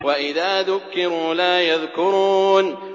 وَإِذَا ذُكِّرُوا لَا يَذْكُرُونَ